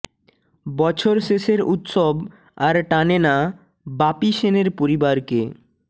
বছর শেষের উৎসব আর টানে না বাপি সেনের পরিবারকে